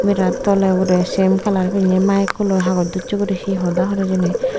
merat tole obode same color pinne mike kolloi haboj docche guri he hoda or hijeni.